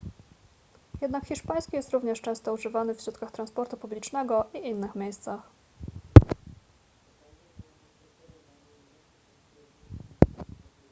jednak hiszpański jest również często używany w środkach transportu publicznego i innych miejscach